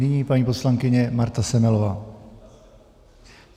Nyní paní poslankyně Marta Semelová.